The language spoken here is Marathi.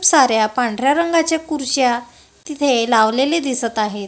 साऱ्या पांढऱ्या रंगाच्या कुरश्या तिथे लावलेले दिसतं आहे.